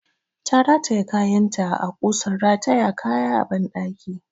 Ta rataye kayanta a ƙusan rataya kaya a ɓandaki.